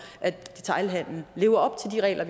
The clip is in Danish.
at detailhandelen lever op til de regler